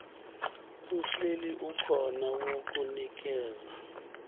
uhleli ukhona wokunikeza